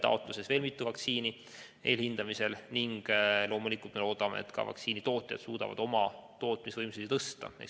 Peale selle on veel mitu vaktsiini eelhindamisel ning loomulikult me loodame, et ka vaktsiinitootjad suudavad oma tootmisvõimsust suurendada.